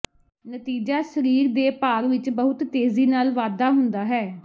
ਨਤੀਜਾ ਸਰੀਰ ਦੇ ਭਾਰ ਵਿਚ ਬਹੁਤ ਤੇਜ਼ੀ ਨਾਲ ਵਾਧਾ ਹੁੰਦਾ ਹੈ